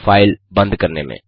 file बंद करने में